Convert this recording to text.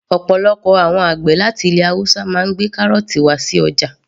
Ọ̀pọ̀lọpọ̀ àwọn àgbẹ̀ láti ilẹ̀ haúsá máa ń gbé kárọ̀ọ̀tì wá sí ọjà